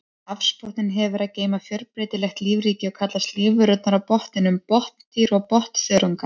Hafsbotninn hefur að geyma fjölbreytilegt lífríki og kallast lífverurnar á botninum botndýr og botnþörungar.